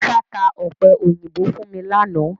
Musa tá ọ̀pẹ̀yìnbo fún mi láánaà